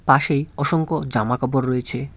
পাশেই অসংখ্য জামা কাপড় রয়েছে।